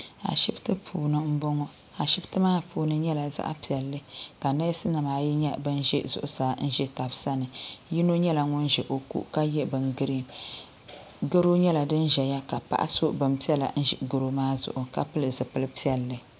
Ashipti puuni m boŋɔ ashipti maa puuni nyɛla zaɣa piɛlli ka neesi nima ayi nyɛ ban ʒɛ zuɣusaa m be taba sani yino nyɛla ŋun ʒɛ o ko ka ye bin girin goro nyɛla di. ʒɛya ka paɣa so binpiɛla n ʒi goro maa zuɣu ka pili zipil'piɛlli.